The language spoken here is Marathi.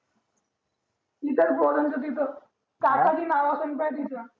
तिथेच फ्रोझन च्या तिथं कासारी नाव असं पाह्य